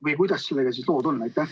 Või kuidas sellega lood on?